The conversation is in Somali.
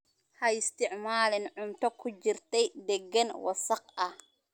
Ha isticmaalin cunto ku jirtay deegaan wasakh ah.